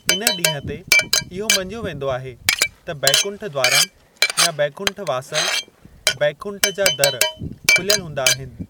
इन ॾींहुं ते, इहो मञियो वेंदो आहे त बैकुंठ द्वारम या बैकुंठ वासल, 'बैकुंठ जा दर' खुल्‍यल हूंदा आहिनि।